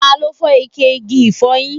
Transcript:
Ta ló fọ ike igi ifoyin?